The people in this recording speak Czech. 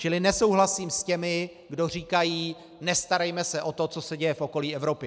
Čili nesouhlasím s těmi, kdo říkají: nestarejme se o to, co se děje v okolí Evropy.